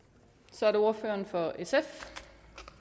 så er det ordføreren for sf